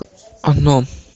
оно